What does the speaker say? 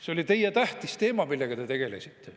" See oli teie tähtis teema, millega te tegelesite.